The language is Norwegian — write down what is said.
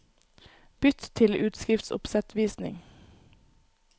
Bytt til utskriftsoppsettvisning